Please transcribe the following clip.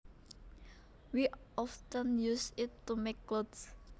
We often use it to make clothes